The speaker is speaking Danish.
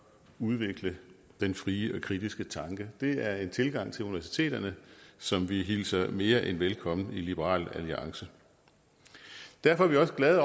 udvikle den frie og kritiske tanke det er en tilgang til universiteterne som vi hilser mere end velkommen i liberal alliance derfor er vi også glade